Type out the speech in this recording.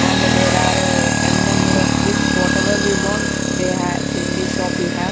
and there are uh n number of books whatever we want they ha in the shop we have.